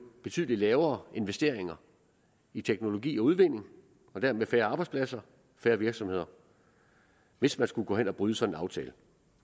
betydelig lavere investeringer i teknologi og udvinding og dermed færre arbejdspladser færre virksomheder hvis man skulle gå hen og bryde sådan en aftale